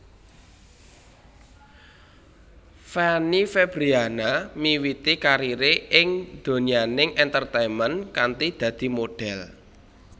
Fanny Fabriana miwiti karire ing donyaning entertainment kanthi dadi modhél